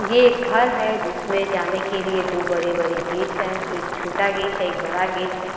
ये एक घर है जिसमें जाने के लिए दो बड़े-बड़े गेट हैं। एक छोटा गेट है एक बड़ा गेट है।